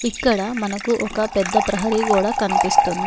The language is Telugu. ఇక్కడ మనకు ఒక పెద్ద ప్రహరీ గోడ కనిపిస్తుంది.